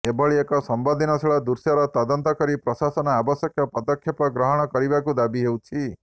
ଏଭଳି ଏକ ସମ୍ବେଦନଶୀଳ ଦୃଶ୍ୟର ତଦନ୍ତ କରି ପ୍ରଶାସନ ଆବଶ୍ୟକ ପଦକ୍ଷେଦପ ଗ୍ରହଣ କରିବାକୁ ଦାବି ହେଉଛି